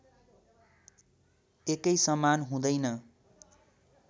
एकै समान हुँदैन